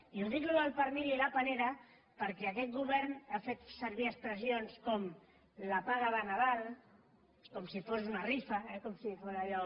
i dic això del pernil i la panera perquè aquest govern ha fet servir expressions com la paga de nadal com si fos una rifa eh com si fos allò